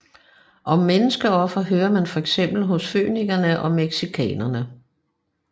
Om menneskeofre hører man fx hos fønikerne og mexikanerne